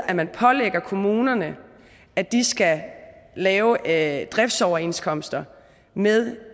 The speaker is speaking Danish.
at man pålægger kommunerne at de skal lave lave driftsoverenskomster med